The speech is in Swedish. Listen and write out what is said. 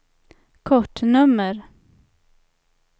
kortnummer